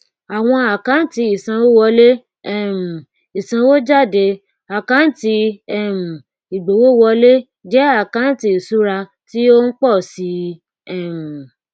awon akanti isanwowole um isanwojade akanti um igbówowole je akanti isura ti o n po si um i